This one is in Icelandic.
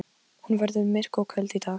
Hann hefði þá líka komið með þeim.